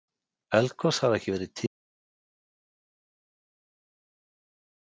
Eldgos hafa ekki verið tíðari eftir landnám en næstu árþúsund þar á undan.